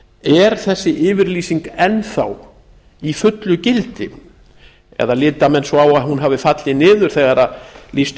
er þessi yfirlýsing enn þá í fullu gildi eða líta menn svo á að hún hafi hafi fallið niður þegar lýst